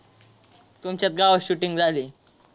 तुमच्याच गावात shooting झाली.